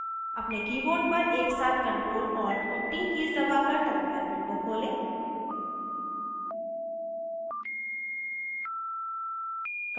अपने keyboard पर एकसाथ ctrl alt और t कीज़ दबाकर terminal window खोलें